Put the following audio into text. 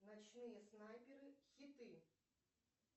ночные снайперы хиты